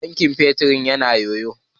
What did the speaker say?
Tankin fetur ya na yoyo.